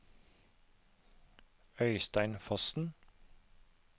Øystein Fossen